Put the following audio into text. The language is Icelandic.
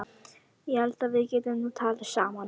Ég held að við getum nú talað saman!